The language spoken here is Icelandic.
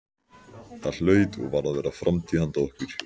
Það hlaut og varð að vera framtíð handa okkur.